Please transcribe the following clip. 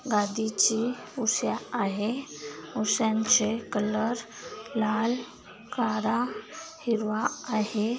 गादीची उश्या आहे उश्यांचे कलर लाल काळा हिरवा आहे.